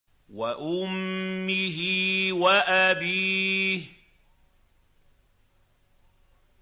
وَأُمِّهِ وَأَبِيهِ